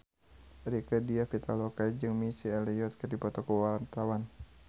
Rieke Diah Pitaloka jeung Missy Elliott keur dipoto ku wartawan